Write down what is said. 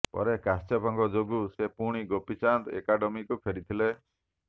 ପରେ କଶ୍ୟପଙ୍କ ଯୋଗୁଁ ସେ ପୁଣି ଗୋପୀଚାନ୍ଦ ଏକାଡେମୀକୁ ଫେରିଥିଲେ